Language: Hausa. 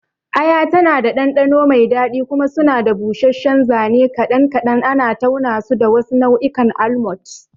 Aya tana da ɗanɗano mai daɗi, kuma suna da busasshen zane kaɗan kaɗan, ana taunasu da wasu nau'ikan almonds.